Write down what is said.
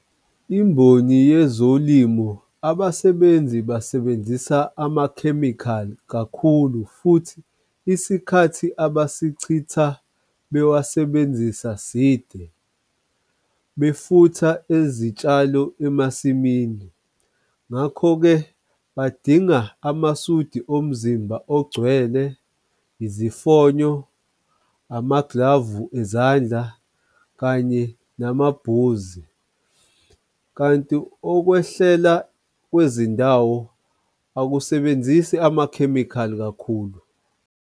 Imboni yezolimo abasebenzi basebenzisa amakhemikhali kakhulu, futhi isikhathi abasichitha bewasebenzisa side befutha ezitshalo emasimini. Ngakho-ke badinga amasudi omzimba ogcwele, izifonyo, amaglavu ezandla kanye namabhuzi. Kanti okwehlela kwezindawo akusebenzisi amakhemikhali kakhulu.